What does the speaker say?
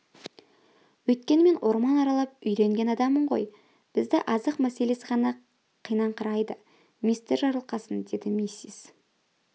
өйткені мен орман аралап үйренген адаммын ғой бізді азық мәселесі ғана қинаңқырайды мистер жарылқасын деді миссис